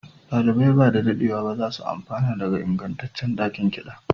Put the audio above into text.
ɗalibai ba da daɗewa ba za su amfana daga ingantaccen ɗakin kiɗa